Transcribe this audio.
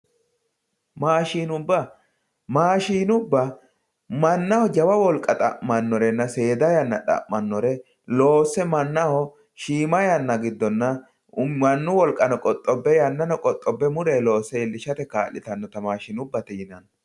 Maashinubba mashinubba manaho jawa wolqa xa`manorena seeda yanna xa`manore loose manaho shiima yana gidonna manu wolqa qoxobe yanano qoxobbe muleyi loose ilishate kaalitanota maashinubate yinani.